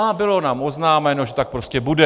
A bylo nám oznámeno, že tak prostě bude.